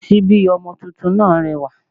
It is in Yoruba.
Síbí ọmọ tuntun náà rẹwà